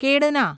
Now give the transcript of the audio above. કેળના